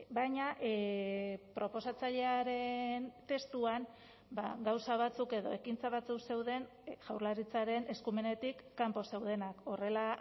baina proposatzailearen testuan gauza batzuk edo ekintza batzuk zeuden jaurlaritzaren eskumenetik kanpo zeudenak horrela